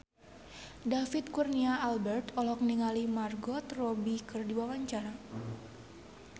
David Kurnia Albert olohok ningali Margot Robbie keur diwawancara